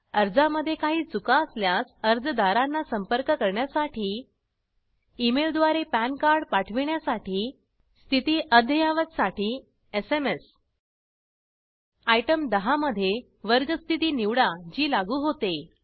अर्जा मध्ये काही चुका असल्यास अर्जादारांना संपर्क करण्यासाठी ईमेल द्वारे पॅन कार्ड पाठविण्यासाठी स्थिती अद्ययावत साठी एसएमएस आयटम 10 मध्ये वर्ग स्थिती निवडा जी लागू होते